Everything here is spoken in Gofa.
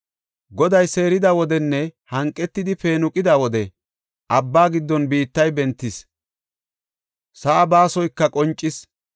Goday seerida wodenne hanqetidi peenuqida wode, abba giddon biittay bentis; Sa7aa baasoyka qoncis.